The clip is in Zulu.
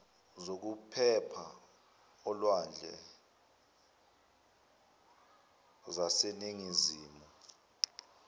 zokuphepha olwandle zaseningizimu